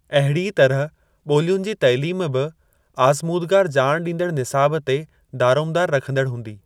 अहिड़ीअ तरह ॿोलियुनि जी तइलीम बि आज़मूदगार ॼाण ॾींदड़ निसाब ते दारोमदारु रखंदड़ हूंदी।